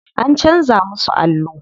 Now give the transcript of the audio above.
An canza musu allo.